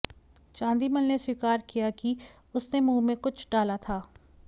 चांदीमल ने स्वीकार किया कि उसने मुंह में कुछ डाला था